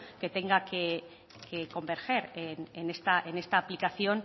que tenga que converger en esta aplicación